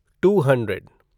to hundred